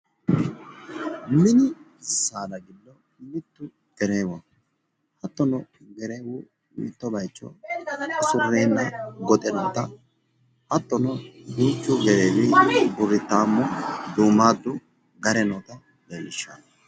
mini saada giddo mittu gereewoho, hattono gereewu mitto bayicho usurreenna goxe noota hattono duuchu burrittaammu duumaaddu gare noota leellishshanno.